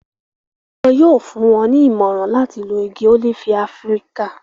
wọn yóò fún wọn ní ìmọ̀ràn láti lo igi ólífì áfíríkà